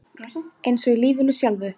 Eins og í lífinu sjálfu.